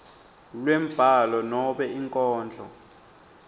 lwembhalo nobe inkondlo